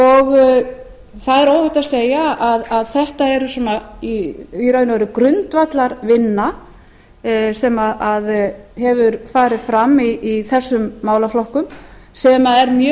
á norðurslóðum það er óhætt að segja að þetta er í raun og veru grundvallarvinna sem hefur farið fram í þessum málaflokkum sem er